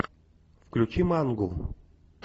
включи мангу